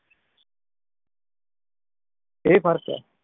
ਇਹ ਫਰਕ ਏ